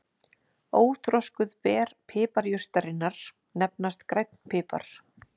Óþroskuð ber piparjurtarinnar nefnast grænn pipar.